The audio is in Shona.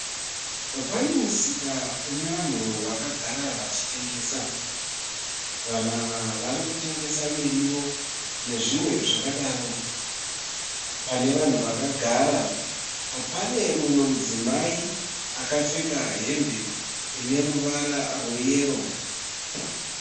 Pane musika une vanhu vakagara vachitengesa. Vanhu ava vari kutengesa mirivo nezvimwe zvakadaro. Pane vanhu vakagara pane mumwe mudzimai akapfeka hembe ine ruvara rweyero.